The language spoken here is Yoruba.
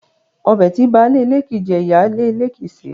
Ọbẹ̀ tí baálé ilé kii jẹ, ìyá lè ilé kii ṣe